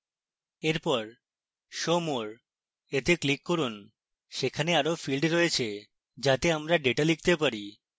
এরপর show more… we click করুন সেখানে আরো fields রয়েছে যাতে আমরা ডেটা লিখতে there